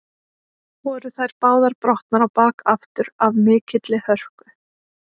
Voru þær báðar brotnar á bak aftur af mikilli hörku.